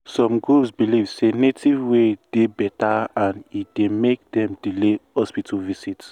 some groups believe say native way dey better and e dey make dem delay hospital visit.